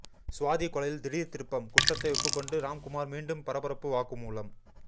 சுவாதி கொலையில் திடீர் திருப்பம் குற்றத்தை ஒப்புக்கொண்டு ராம்குமார் மீண்டும் பரபரப்பு வாக்குமூலம்